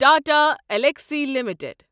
Tata Elxsi limited